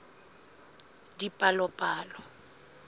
dipalopalo